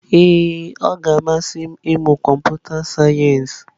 Ee ọ ga-amasị m ịmụ kọmputa sayensị.